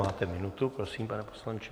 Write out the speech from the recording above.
Máte minutu, prosím, pane poslanče.